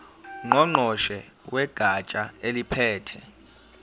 ngqongqoshe wegatsha eliphethe